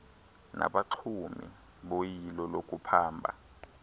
nabaxumi boyilo lokuphamba